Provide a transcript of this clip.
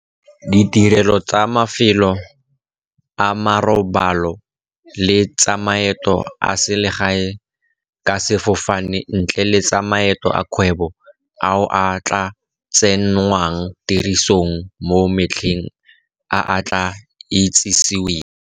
Ditirelo tsa mafelo a marobalo le tsa maeto a selegae ka sefofane, ntle le tsa maeto a kgwebo, ao a tla tsenngwang tirisong mo matlheng a a tla itsiseweng.